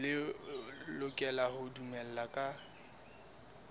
le lokela ho dumellana ka